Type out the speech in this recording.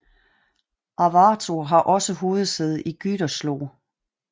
Arvato har også hovedsæde i Gütersloh